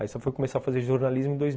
Aí só fui começar a fazer jornalismo em dois.